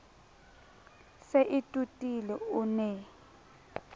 se e totile o ne